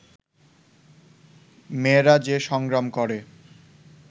মেয়েরা যে সংগ্রাম করে